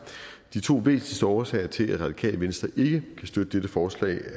de to væsentligste årsager til at radikale venstre ikke kan støtte dette forslag